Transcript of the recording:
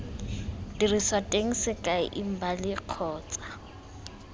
diriswa teng sekai embali kgotsa